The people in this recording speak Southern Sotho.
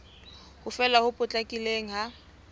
ho fela ho potlakileng ha